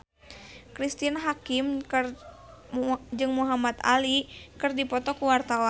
Cristine Hakim jeung Muhamad Ali keur dipoto ku wartawan